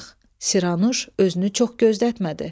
Siranuş özünü çox gözlətmədi.